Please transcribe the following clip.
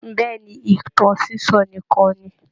Bẹ́ẹ̀ ni, ìtàn sísọ nìkan ni